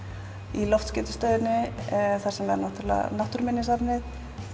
í loftskeytastöðinni þar sem er Náttúruminjasafnið